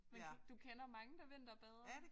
Men du du kender mange der vinterbader?